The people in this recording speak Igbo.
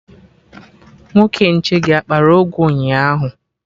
Nwoke nche gị akpara ụgụ ụnyaahụ?